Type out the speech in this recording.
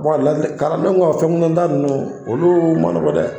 Bɔn ladili kaladenw ka fɛnkunda ninnu olu ma nɔgɔ dɛ.